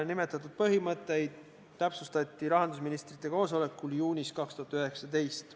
Nimetatud põhimõtteid täpsustati rahandusministrite koosolekul juunis 2019.